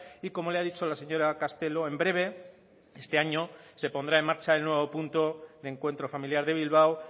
y como le ha dicho la señora castelo en breve este año se pondrá en marcha el nuevo punto de encuentro familiar de bilbao